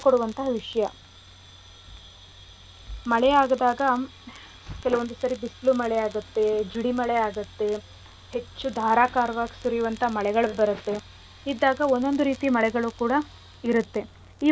ವಿಷ್ಯ ಮಳೆ ಆಗದಾಗ ಕೆಲುವೊಂದ್ ಸರಿ ಬಿಸಿಲು ಮಳೆ ಆಗತ್ತೆ ಜಿಡಿ ಮಳೆ ಆಗತ್ತೆ ಹೆಚ್ಚು ಧಾರಾಕಾರವಾಗಿ ಸುರ್ಯುವಂತ ಮಳೆಗಳ್ ಬರತ್ತೆ ಇದ್ದಾಗ ಒಂದೊಂದು ರೀತಿ ಮಳೆಗಳು ಕೂಡ ಇರತ್ತೆ ಈ ಮಳೆಗಳಲ್ಲಿ.